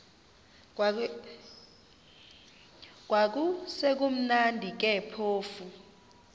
kwakusekumnandi ke phofu